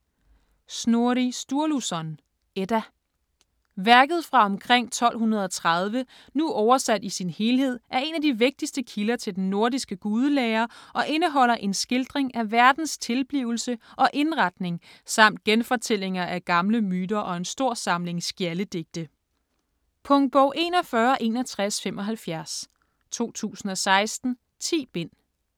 Snorri Sturluson: Edda Værket fra omkring 1230, nu oversat i sin helhed, er en af de vigtigste kilder til den nordiske gudelære og indeholder en skildring af verdens tilblivelse og indretning samt genfortællinger af gamle myter og en stor samling skjaldedigte. Punktbog 416175 2016. 10 bind.